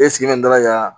E sigilen bɛ n dala kan